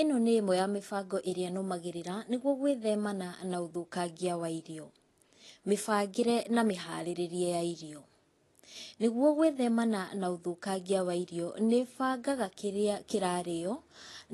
Ĩno nĩ ĩmwe ya mĩbango ĩrĩa nũmagĩrĩra nĩguo gũĩthemana na ũthũkangia wa irio. Mĩbangĩre na mĩharĩrĩrie ya irio. Nĩguo gwĩthemana na ũthĩkangia wa irio nĩ bangaga kĩrĩa kĩrarĩywo